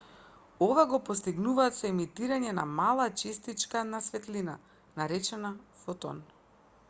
ова го постигнуваат со емитирање на мала честичка на светлина наречена фотон